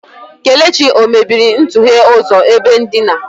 Kelechi o mebiri ntughe ụzọ ebe ndina?